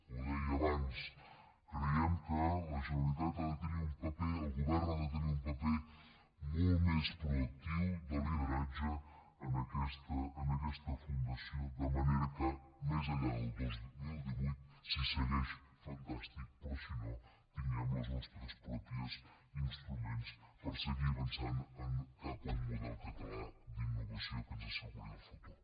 ho deia abans creiem que la generalitat ha de tenir un paper el govern ha de tenir un paper molt més proactiu de lideratge en aquesta fundació de manera que més enllà del dos mil divuit si segueix fantàstic però si no que tinguem els nostres propis instruments per seguir avançant cap a un model català d’innovació que ens asseguri el futur